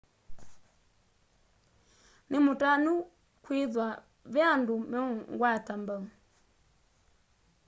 nimutanu nikwithwa ve andu meungwata mbau